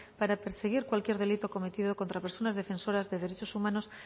para perseguir cualquier delito cometido contra personas defensoras de derechos humanos